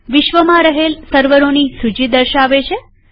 વિશ્વમાં રહેલ સર્વરોની સૂચી દર્શાવે છે